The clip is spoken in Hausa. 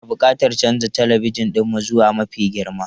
Muna buƙatar canza talabijin ɗinmu zuwa mafi girma.